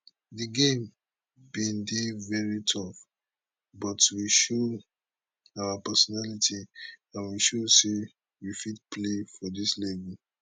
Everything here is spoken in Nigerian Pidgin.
di game bin dey very tough but we show our personality and we show say we fit play for dis level